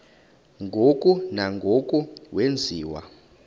ngoko nangoko wenziwa